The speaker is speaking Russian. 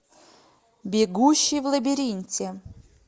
бегущий в лабиринте